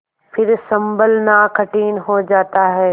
फिर सँभलना कठिन हो जाता है